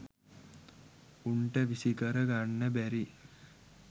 උන්ට විසිකර ගන්න බැරි